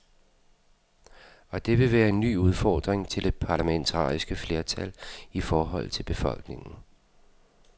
Og det vil være en ny udfordring til det parlamentariske flertal i forhold til befolkningen.